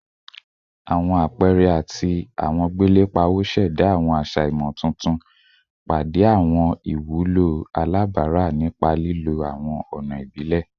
Awọn apẹẹrẹ ati awọn gbele pawo ṣẹda awọn aṣa imotuntun, pade awọn iwulo alabara nipa lilo awọn ọna ibile